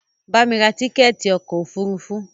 Bamí ra tíkẹ̀ẹ̀ti ọkò òfurufú!